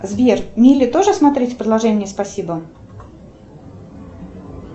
сбер мили тоже смотреть в приложении спасибо